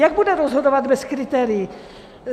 Jak bude rozhodovat bez kritérií?